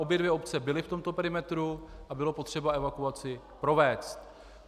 Obě dvě obce byly v tomto perimetru a bylo potřeba evakuaci provést.